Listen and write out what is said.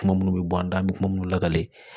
Kuma minnu bɛ bɔ an da an bɛ kuma minnu lakale